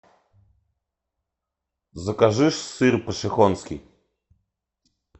закажи сыр пошехонский